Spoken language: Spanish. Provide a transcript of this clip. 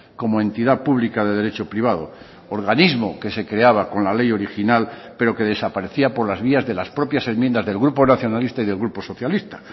como entidad pública de derecho privado organismo que se creaba con la ley original pero que desaparecía por las vías de las propias enmiendas del grupo nacionalista y del grupo socialista